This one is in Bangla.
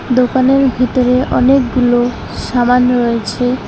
দোকানের ভিতরে অনেকগুলো শামান রয়েছে।